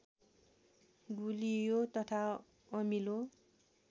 गुलियो तथा अमिलो